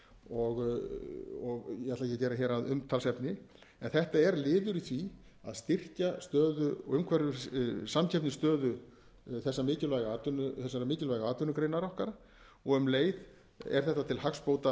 og ég ætla ekki að gera hér að umtalsefni en þetta er liður í því að styrkja samkeppnisstöðu þessarar mikilvægu atvinnugreinar okkar og um leið er þetta til hagsbóta